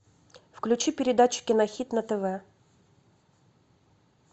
включи передачу кинохит на тв